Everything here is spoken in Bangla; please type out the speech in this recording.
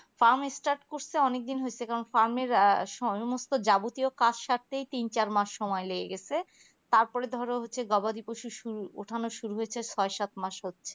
farm start করছে অনেক দিন হয়েছে এবং farm আহ এর সমস্ত যাবতীয় কাজ সারতেই তিন চারমাস সময় লেগে গেছে তারপরে ধরো গবাদি পশুর শুরু উঠানোর শুরু হয়েছে ছয় সাত মাস